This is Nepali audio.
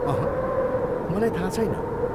अहँ, मलाई थाहा छैन।